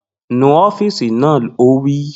Nu ọ́fììsì náà! Ó wí